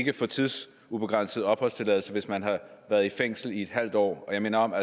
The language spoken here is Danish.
kan få tidsubegrænset opholdstilladelse hvis man har været i fængsel i en halv år og jeg minder om at